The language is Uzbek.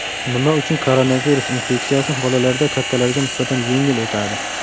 Nima uchun koronavirus infeksiyasi bolalarda kattalarga nisbatan yengil o‘tadi?